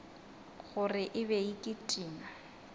gore e be e kitima